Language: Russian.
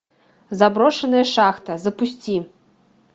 заброшенная шахта запусти